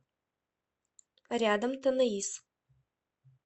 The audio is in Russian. рядом танаис